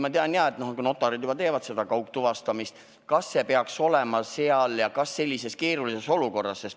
Ma tean, jah, et notarid juba teevad kaugtuvastamist, aga kas seda peaks ka seal kasutama ja sellises keerulises olukorras?